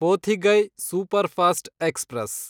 Pothigai superfast express